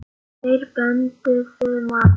Þeir pöntuðu mat.